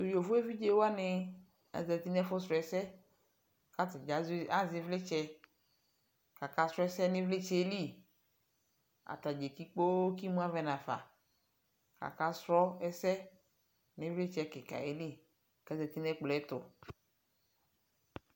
tʋ yɔvɔ ɛvidzɛ wani azati nʋ ɛƒʋ srɔ ɛsɛ kʋ atagya azɛ ivlitsɛ kʋ aka srɔ ɛsɛ nʋ ivlitsɛ li, atagya ɛli kpɔɔ kʋ imʋ avɛ nʋ aƒa kʋ aka srɔ ɛsɛ nʋ ivlitsɛ kikaaɛ li kʋ azati nʋ ɛkplɔɛ tʋ.